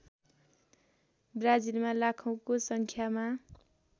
ब्राजिलमा लाखौँको सङ्ख्यामा